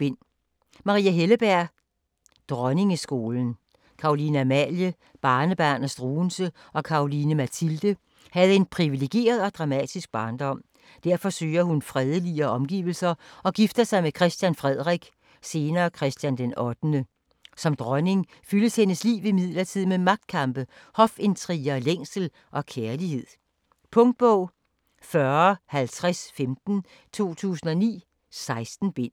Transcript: Helleberg, Maria: Dronningeskolen Caroline Amalie, barnebarn af Struensee og Caroline Mathilde, havde en privilegeret og dramatisk barndom. Derfor søger hun fredeligere omgivelser og gifter sig med Christian Frederik (senere Christian d. 8.). Som dronning fyldes hendes liv imidlertid med magtkampe, hofintriger, længsel og kærlighed. Punktbog 405015 2009. 16 bind.